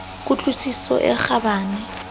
ku tlwisiso e kgabane ya